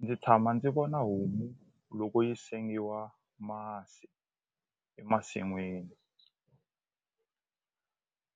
Ndzi tshama ndzi vona homu loko yi sengiwa masi emasin'wini